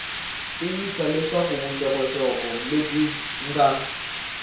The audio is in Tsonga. tiyisisa leswaku vuxokoxoko lebyi nga